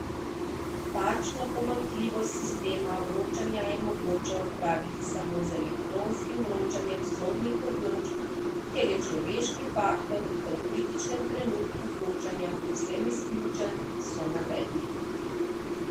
Takšno pomanjkljivost sistema vročanja je mogoče odpraviti samo z elektronskim vročanjem sodnih odločb, kjer je človeški faktor v tem kritičnem trenutku vročanja povsem izključen, so navedli.